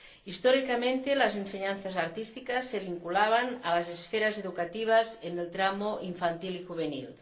Históricamente, las enseñanzas artísticas se vinculaban a las esferas educativas en los tramos infantil y juvenil.